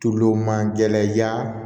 Tulu man gɛlɛn yaa